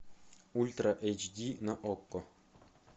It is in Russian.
ультра эйч ди на окко